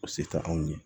O se tɛ anw ye